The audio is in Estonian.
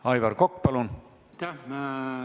Aivar Kokk, palun!